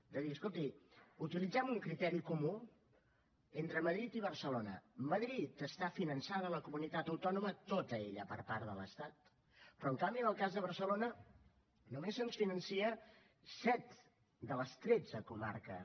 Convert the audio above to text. és a dir escolti utilitzem un criteri comú entre madrid i barcelona madrid està finançada la comunitat autònoma tota ella per part de l’estat però en canvi en el cas de barcelona només se’ns financen set de les tretze comarques